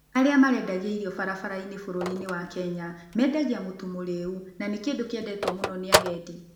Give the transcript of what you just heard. Arĩa marendagia irio barabara-inĩ bũrũri-inĩ wa Kenya, mendagia mũtu mũrĩĩu, na nĩ kĩndũ kĩendetwo mũno nĩ agendi.